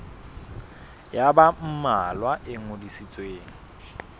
ya ba mmalwa e ngodisitsweng